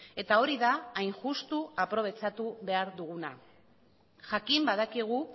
eta hori da hain justu aprobetxatu behar duguna jakin badakigu